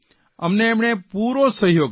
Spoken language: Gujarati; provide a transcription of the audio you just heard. અમને એમણે પૂરો સહયોગ આપ્યો